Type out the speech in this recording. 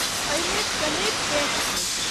एहिमे कनेक पेंच छैक।